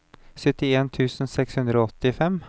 syttien tusen seks hundre og åttifem